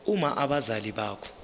uma abazali bakho